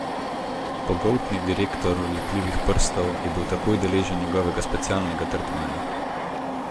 Pogoltni direktor lepljivih prstov je bil takoj deležen njegovega specialnega tretmaja.